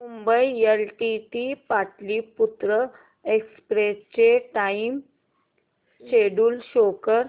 Mumbai LTT Pataliputra express चे time schedule show कर